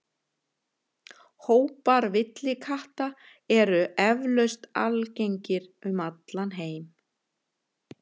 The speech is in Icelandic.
Hópar villikatta eru eflaust algengir um allan heim.